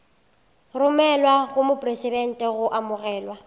romelwa go mopresidente go amogelwa